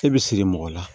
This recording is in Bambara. E bi siri mɔgɔ la